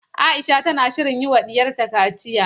Aisha tana shirin yiwa diyarta kaciya.